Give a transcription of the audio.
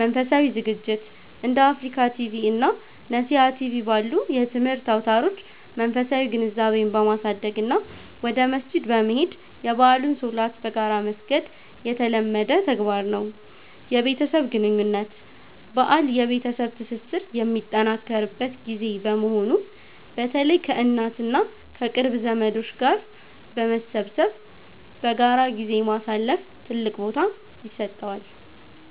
መንፈሳዊ ዝግጅት፦ እንደ አፍሪካ ቲቪ እና ነሲሃ ቲቪ ባሉ የትምህርት አውታሮች መንፈሳዊ ግንዛቤን በማሳደግ እና ወደ መስጂድ በመሄድ የበዓሉን ሶላት በጋራ መስገድ የተለመደ ተግባር ነው። የቤተሰብ ግንኙነት፦ በዓል የቤተሰብ ትስስር የሚጠናከርበት ጊዜ በመሆኑ፣ በተለይ ከእናት እና ከቅርብ ዘመዶች ጋር በመሰብሰብ በጋራ ጊዜ ማሳለፍ ትልቅ ቦታ ይሰጠዋል።